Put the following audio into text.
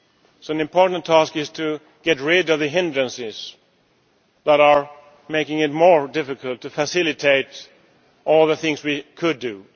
So an important task is to get rid of the hindrances that are making it more difficult to facilitate all the things we could